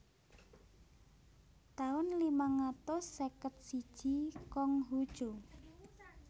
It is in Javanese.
taun limang atus seket siji Kong Hu Cu